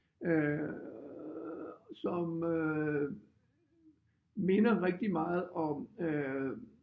Øh som øh minder rigtig meget om øh